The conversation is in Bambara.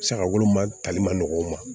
Saga woloma tali man nɔgɔ u ma